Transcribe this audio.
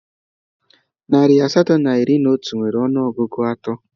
Narị asatọ na iri na otu nwere ọnụọgụ atọ